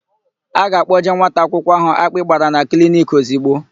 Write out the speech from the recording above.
A ga-akpọje nwata akwụkwọ áhụ̀ akpị gbara na kliniki ozigbo.